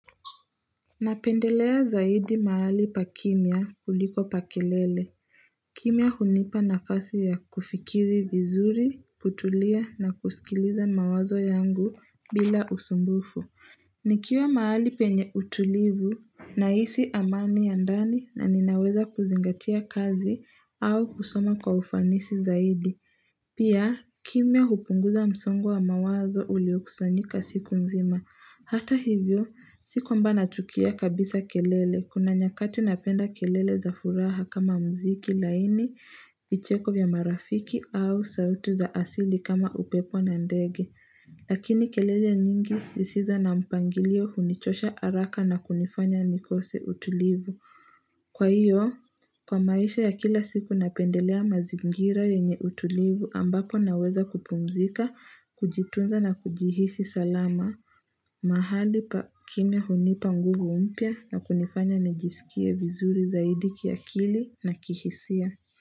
Napendelea zaidi mahali pa kimya kuliko pa kelele. Kimya hunipa nafasi ya kufikiri vizuri, kutulia na kusikiliza mawazo yangu bila usumbufu. Nikiwa mahali penye utulivu na hisi amani ya ndani na ninaweza kuzingatia kazi au kusoma kwa ufanisi zaidi. Pia, kimya hupunguza msongo wa mawazo uliokusanyika siku nzima. Hata hivyo, si kwamba nachukia kabisa kelele. Kuna nyakati napenda kelele za furaha kama mziki laini, vicheko vya marafiki au sauti za asili kama upepo na ndege. Lakini kelele nyingi zisizo na mpangilio hunichosha haraka na kunifanya nikose utulivu. Kwa hiyo, kwa maisha ya kila siku napendelea mazingira yenye utulivu ambapo naweza kupumzika, kujitunza na kujihisi salama. Mahali pa kimya hunipa nguvu mpya na kunifanya nijisikie vizuri zaidi kiakili na kihisia.